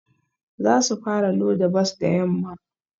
Za su fara loda bas da yamma